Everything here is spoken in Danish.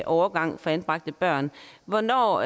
overgang for anbragte børn hvornår